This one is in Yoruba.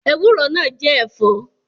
Bitterlead is also a vegetable